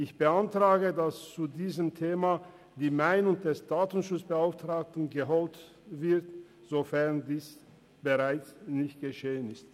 Ich beantrage, dass zu diesem Thema die Meinung des Datenschutzbeauftragten eingeholt wird, sofern dies nicht bereits geschehen ist.